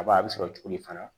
A b'a bɛ sɔrɔ cogo di fana